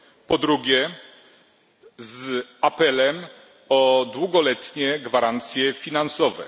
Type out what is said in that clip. Po drugie, z apelem o długoletnie gwarancje finansowe.